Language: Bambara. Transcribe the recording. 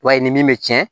I b'a ye ni min bɛ tiɲɛ